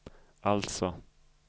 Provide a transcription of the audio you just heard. alltså